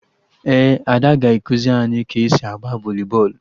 Ee, Ada ga-ekuzi anyị ka-esi agba voli bọọlụ